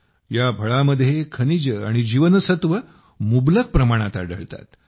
या फळामध्ये खनिजे आणि जीवनसत्त्वे मुबलक प्रमाणात आढळतात